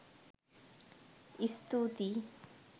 ඉස්තූතියි